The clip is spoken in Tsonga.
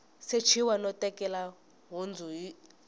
sechiwa no tekela nhundzu hi